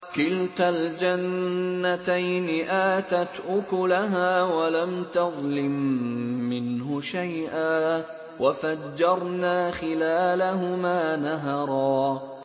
كِلْتَا الْجَنَّتَيْنِ آتَتْ أُكُلَهَا وَلَمْ تَظْلِم مِّنْهُ شَيْئًا ۚ وَفَجَّرْنَا خِلَالَهُمَا نَهَرًا